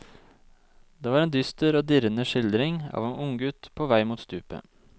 Det var en dyster og dirrende skildring av en unggutt på vei mot stupet.